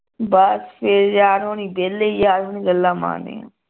ਬਸ ਫਿਰ ਯਾਰ ਹੋਣੀ ਵਿਹਲੇ ਯਾਰ ਹੋਣੀ ਗੱਲਾਂ ਮਾਰਨੀਆਂ